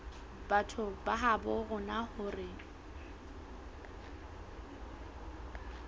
batho ba habo rona hore